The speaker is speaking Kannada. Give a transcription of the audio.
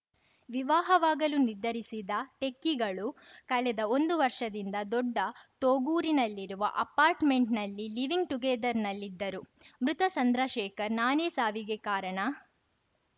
ವಿವಾಹವಾಗಲು ನಿರ್ಧರಿಸಿದ್ದ ಟೆಕ್ಕಿಗಳು ಕಳೆದ ಒಂದು ವರ್ಷದಿಂದ ದೊಡ್ಡ ತೊಗೂರಿನಲ್ಲಿರುವ ಅಪಾರ್ಟ್‌ಮೆಂಟ್‌ನಲ್ಲಿ ಲಿವೀಂಗ್‌ ಟುಗೇದರ್‌ನಲ್ಲಿದ್ದರು ಮೃತ ಚಂದ್ರಶೇಖರ್‌ ನಾನೇ ಸಾವಿಗೆ ಕಾರಣ